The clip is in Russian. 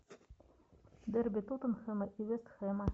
дерби тоттенхэма и вест хэма